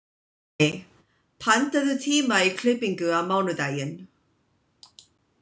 Arney, pantaðu tíma í klippingu á mánudaginn.